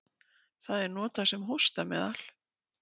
Það er notað sem hóstameðal.